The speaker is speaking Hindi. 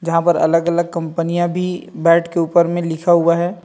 जहाँ पर अलग - अलग कंपनीया भी बैट के ऊपर में लिखा हुआ है।